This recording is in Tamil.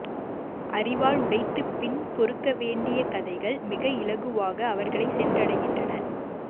அறிவால் உடைத்துப் பின் பொறுக்கவேண்டிய கதைகள் மிக இலகுவாக அவர்களைச் சென்றடைகின்றன